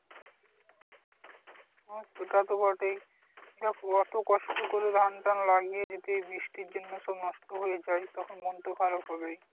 হ্যাঁ সেটা তো বটেই দেখ অটো কষ্ট করে ধান টান লাগিয়ে যদি বৃষ্টির জন্য সব নষ্ট হয়ে যায় তখন মন তো খারাপ হবেই